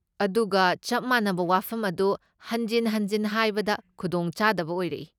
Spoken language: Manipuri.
ꯑꯗꯨꯒ ꯆꯞ ꯃꯥꯟꯅꯕ ꯋꯥꯐꯝ ꯑꯗꯨ ꯍꯟꯖꯤꯟ ꯍꯟꯖꯤꯟ ꯍꯥꯏꯕꯗ ꯈꯨꯗꯣꯡ ꯆꯥꯗꯕ ꯑꯣꯏꯔꯛꯏ꯫